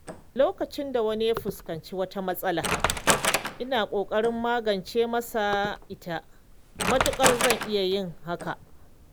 Lokacin da wani ya fuskanci wata matsala, ina ƙoƙarin magance masa ita matuƙar zan iya yin hakan.